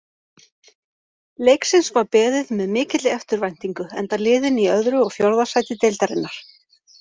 Leiksins var beðið með mikilli eftirvæntingu enda liðin í öðru og fjórða sæti deildarinnar.